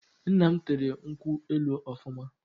Nna m tere nkwu elu ọfụma